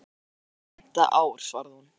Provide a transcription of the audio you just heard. Það er komið á fimmta ár, svaraði hún.